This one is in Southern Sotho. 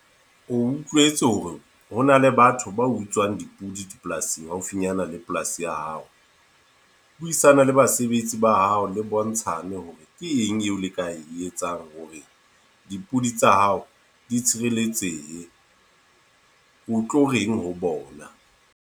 O utlwetse hore hona le batho ba utswang dipudi dipolasing haufinyana le polasi ya hao. Buisana le basebetsi ba hao le bontshane hore ke eng eo le ka e etsang hore dipudi tsa hao di tshireletsehe. O tlo reng ho bona.